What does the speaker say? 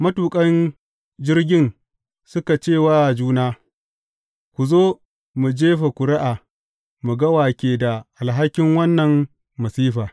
Matuƙan jirgin suka ce wa juna, Ku zo, mu jefa ƙuri’a mu ga wa ke da alhakin wannan masifa.